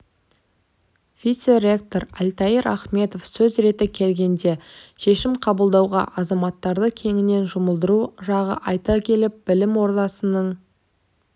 вице-ректор альтаир ахметов сөз реті келгенде шешім қабылдауға азаматтарды кеңінен жұмылдыру жағын айта келіп білім ордасының